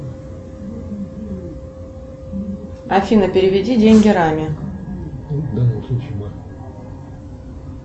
афина переведи деньги раме